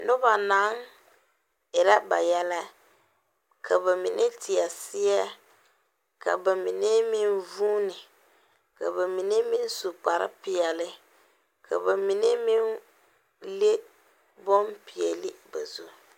Noba naŋ erɛ ba yɛlɛ, ka ba mine teɛ seɛ ka ba mine meŋ vʋʋne, ka ba mine meŋ su kparre pɛɛle ka ba mine meŋ leŋ bonpɛɛle. ba zu.